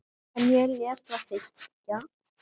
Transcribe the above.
En ég lét það liggja.